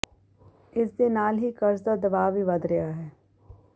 ਇਸ ਦੇ ਨਾਲ ਹੀ ਕਰਜ਼ ਦਾ ਦਬਾਅ ਵੀ ਵੱਧ ਰਿਹਾ ਹੈ